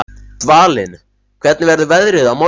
Dvalinn, hvernig verður veðrið á morgun?